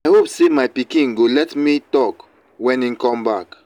i hope say my pikin go let me talk wen he come back.